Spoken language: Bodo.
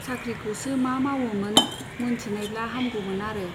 साख्रिखौसो मा मावोमोन , मोनथिनायब्ला हामगौमोन आरो।